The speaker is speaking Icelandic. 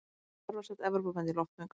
Hvar var sett Evrópumet í loftmengun?